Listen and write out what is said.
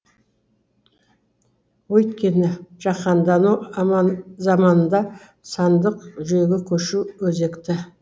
өйткені жаһандану заманында сандық жүйеге көшу өзекті